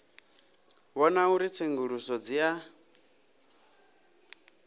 vhona uri tsenguluso dzi a